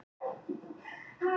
Mér finnst þetta ómakleg gagnrýni